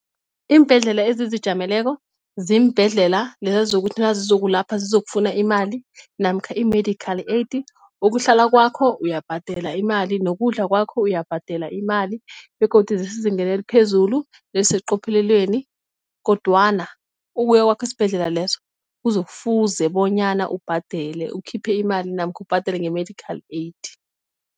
Iimbhedlela ezizijameleko ziimbhedlela lezi zokuthi nazizokulapha zizokufuna imali namkha i-medical aid ukuhlala kwakho uyabhadela imali, nokudla kwakho uyabhadela imali begodu zesezingeni eliphezulu eliseqophelelweni kodwana ukuya kwakho esibhedlela lezo kuzo kufuze bonyana ubhadele ukhiphe imali namkha ubhadele nge-medical aid.